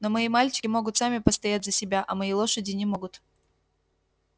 но мои мальчики могут сами постоять за себя а мои лошади не могут